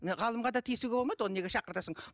міне ғалымға да тиісуге болмайды оны неге шақыртасың